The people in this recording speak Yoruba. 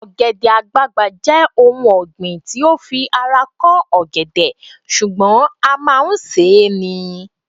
ogede àgbagbà je oun osin ti o fi ara ko ọgẹdẹ sùgbón a ma n se